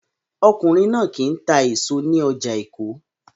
Ọkùnrin náà kì í ta èso ní ọjà Èkó